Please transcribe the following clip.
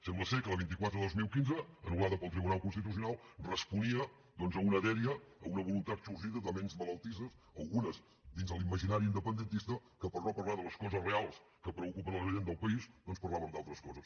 sembla que la vint quatre dos mil quinze anul·lada pel tribunal constitucional responia doncs a una dèria a una voluntat sorgida de ments malaltisses algunes dins de l’imaginari independentista que per no parlar de les coses reals que preocupen a la gent del país doncs parlaven d’altres coses